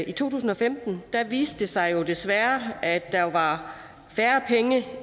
i to tusind og femten viste det sig jo desværre at der var færre penge